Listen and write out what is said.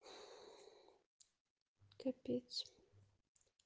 капец